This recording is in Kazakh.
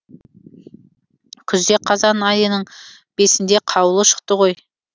күзде қазан айының бесінде қаулы шықты ғой